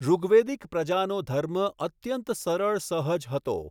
ૠગ્વેદિક પ્રજાનો ધર્મ અત્યંત સરળ સહજ હતો.